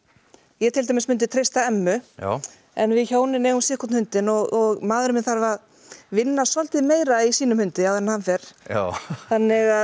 ég til dæmis treysta Emmu já en við hjónin eigum sitt hvorn hundinn og maðurinn minn þarf að vinna svolítið meira í sínum hundi áður en hann fer þannig að